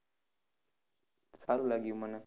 સારું લાગ્યું મને.